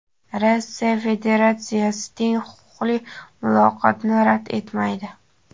Rossiya Federatsiyasi teng huquqli muloqotni rad etmaydi.